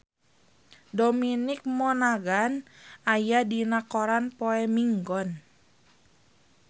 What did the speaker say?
Dominic Monaghan aya dina koran poe Minggon